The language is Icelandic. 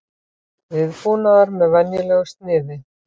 Viðbúnaður með venjulegu sniði